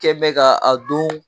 Kɛɛn bɛ ka a don